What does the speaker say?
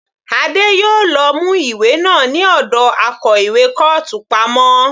Adé yòó lọ mú ìwé náà ní ọ̀dọ akó ìwé kọ́ọ̀tù pamọ́.